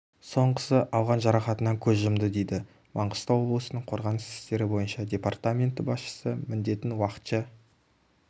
соңғысы алған жарақатынан көз жұмды дейді маңғыстау облысының қорғаныс істері бойынша департаменті басшысы міндетін уақытша